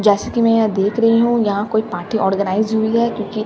जैसे की मैं यहां देख रही हूं यहां कोई पार्टी ऑर्गनाइज हुई है क्यूंकि--